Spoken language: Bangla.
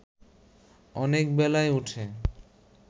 অনেক বেলায় উঠে